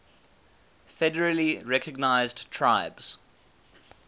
federally recognized tribes